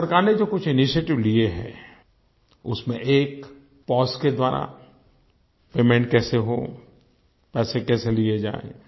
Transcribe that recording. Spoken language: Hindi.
भारत सरकार ने जो कुछ इनिशिएटिव लिए हैं उसमें एक पोस के द्वारा पेमेंट कैसे हो पैसे कैसे लिए जाएँ